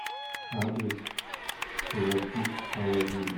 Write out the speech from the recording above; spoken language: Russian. адрес коврочист алладин